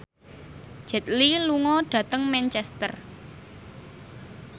Jet Li lunga dhateng Manchester